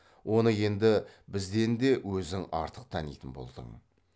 оны енді бізден де өзің артық танитын болдың